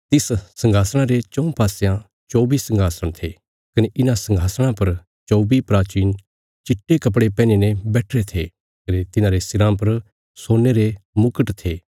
तिस संघासणा रे चऊँ पासयां चौबी संघासण थे कने इन्हां संघासणा पर चौबी प्राचीन चिट्टे कपड़े पैहनीं ने बैठिरे थे कने तिन्हांरे सिराँ पर सोने रे मुकट थे